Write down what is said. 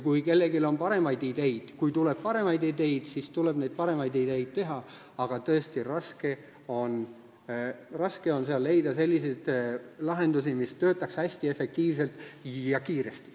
Kui kellelgi on paremaid ideid, siis tuleb neid rakendada, aga tõesti, raske on seal leida selliseid lahendusi, mis toimiksid hästi efektiivselt ja kiiresti.